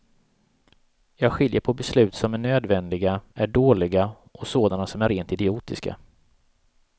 Jag skiljer på beslut som är nödvändiga, är dåliga och sådana som är rent idiotiska.